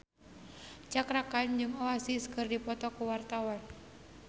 Cakra Khan jeung Oasis keur dipoto ku wartawan